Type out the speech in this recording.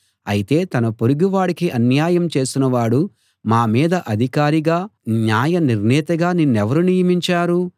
అయితే తన పొరుగువాడికి అన్యాయం చేసినవాడు మామీద అధికారిగా న్యాయనిర్ణేతగా నిన్నెవరు నియమించారు